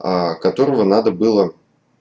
аа которого надо было